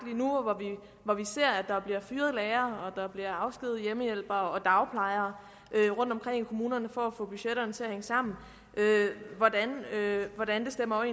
hvor vi ser at der bliver fyret lærere og at der bliver afskediget hjemmehjælpere og dagplejere rundtomkring i kommunerne for at få budgetterne til at hænge sammen hvordan det stemmer